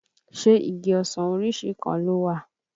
Ṣé igi ọsàn orísìí kan ló wà?